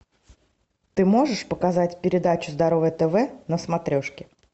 ты можешь показать передачу здоровое тв на смотрешке